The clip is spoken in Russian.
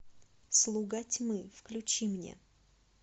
слуга тьмы включи мне